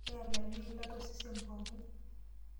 Elayu eilata osesen pookin.